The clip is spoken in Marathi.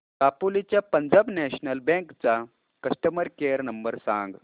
दापोली च्या पंजाब नॅशनल बँक चा कस्टमर केअर नंबर सांग